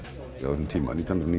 á þessum tíma nítján hundruð